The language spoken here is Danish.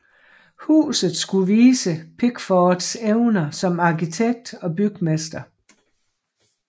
Huset skulle vise Pickfords evner som arkitekt og bygmester